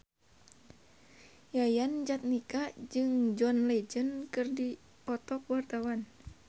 Yayan Jatnika jeung John Legend keur dipoto ku wartawan